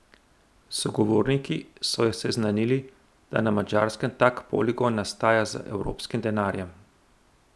Sogovorniki so jo seznanili, da na Madžarskem tak poligon nastaja z evropskim denarjem.